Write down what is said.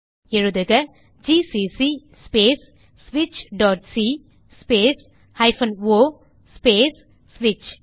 எழுதுக160gcc space switchசி space o space ஸ்விட்ச்